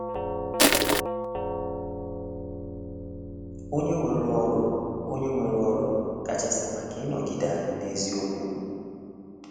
Onye nwere ọrụ Onye nwere ọrụ kachasị maka ịnọgide anyị n’eziokwu?